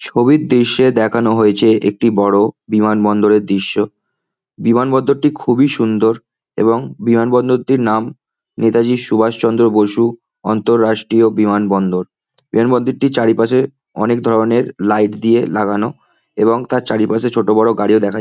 ছবির দৃশ্যে দেখানো হয়েছে একটি বড় বিমানবন্দরের দৃশ্য। বিমানবন্দরটি খুবই সুন্দর এবং বিমানবন্দরটির নাম নেতাজী সুভাষচন্দ্র বসু অন্তর রাষ্ট্রীয় বিমানবন্দর। বিমানবন্দরটির চারিপাশে অনেক ধরনের লাইট দিয়ে লাগানো এবং তার চারিপাশে ছোট বড় গাড়িও দেখা যায়।